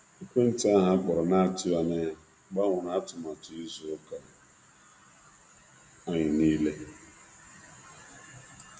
Ekwentị ahụ akpọrọ na-atụghị anya ya gbanwere atụmatụ izu ụka anyị niile.